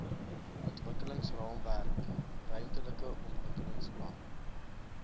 ontwikkelingsraamwerk ruimtelike ontwikkelingsplan